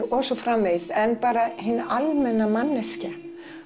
og svo framvegis en bara hin almenna manneskja